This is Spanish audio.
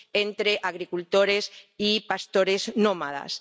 entre agricultores y pastores nómadas.